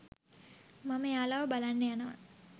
මම එයාලව බලන්න යනවා.